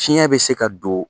Fiɲɛ bɛ se ka don